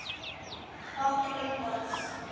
Hoppaðu um borð.